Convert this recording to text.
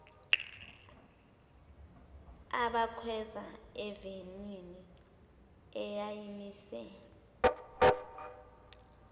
abakhweza evenini eyayimise